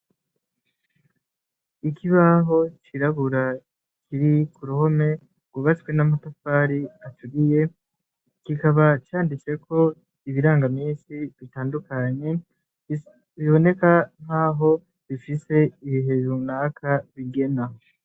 Ikibaho cirabura kiri kuruhome ngubatswe n'amatafari aturiye, kikaba canditseko ibiranga misi bitandukanye, biboneka nk'aho bifise ibihe brunaka bigena.